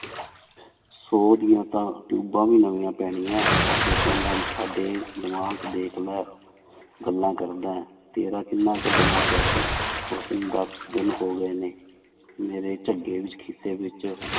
ਸੌ ਦੀਆਂ ਤਾਂ ਟਿਊਬਾਂ ਵੀ ਨਵੀਆਂ ਪੈਣੀਆਂ ਹੈ ਹਜੇ ਕਹਿੰਦਾ ਸਾਡੇ ਦਿਮਾਗ ਦੇਖ ਲੈ ਗੱਲਾਂ ਕਰਦਾ ਹੈ ਤੇਰਾ ਕਿੰਨਾ ਕੁ ਦਿਮਾਗ ਹੈ ਉਸਨੂੰ ਦਸ ਦਿਨ ਹੋ ਗਏ ਨੇ ਮੇਰੇ ਝੱਗੇ ਵਿੱਚ ਖ਼ਿੱਸੇ ਵਿੱਚ